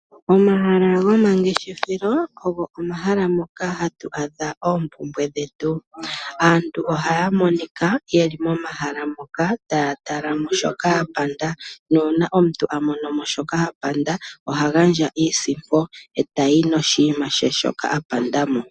Omahala gomangeshefelo ogo omahala ngoka hagu adha oompumbwe dhetu. Aantu ohaya monika yeli momahala moka taya tala mo shoka ya panda nuuna omuntu amonomo shoka apanda, oha gandja iisimpo etayi noshiima shaye shoka apanda mo.